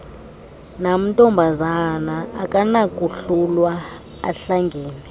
namntombazana akanakohlulwa ahlangene